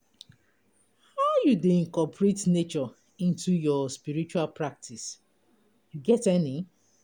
How you dey incorporate nature into your spiritual practice, you get any?